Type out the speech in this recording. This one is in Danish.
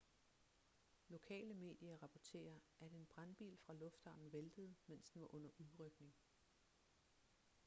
lokale medier rapporterer at en brandbil fra lufthavnen væltede mens den var under udrykning